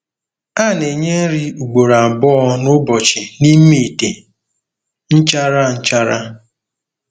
A na-enye nri ugboro abụọ n'ụbọchị n'ime ite nchara nchara.